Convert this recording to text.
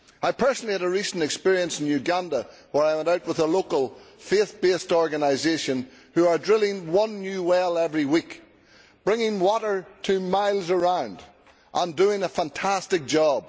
I personally had a recent experience in Uganda where I went out with a local faith based organisation who are drilling one new well every week, bringing water to miles around and doing a fantastic job.